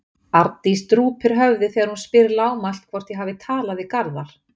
Arndís drúpir höfði þegar hún spyr lágmælt hvort ég hafi talað við Garðar.